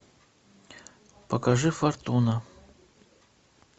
покажи фортуна